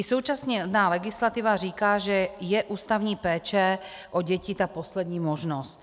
I současná legislativa říká, že je ústavní péče o děti ta poslední možnost.